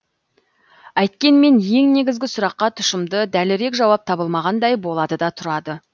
әйткенмен ең негізгі сұраққа тұшымды дәлірек жауап табылмағандай болады да тұрады